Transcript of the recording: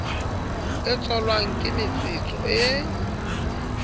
e tswalwang ke metsetso e